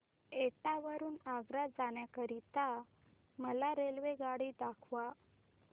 एटा वरून आग्रा जाण्या करीता मला रेल्वेगाडी दाखवा